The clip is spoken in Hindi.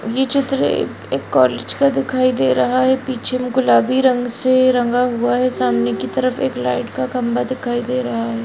ये चित्र ए-एक कॉलेज का दिखाई दे रहा है पीछे में गुलाबी रंग से रंगा हुआ है सामने की तरफ एक लाइट का खम्भा दिखाई दे रहा है।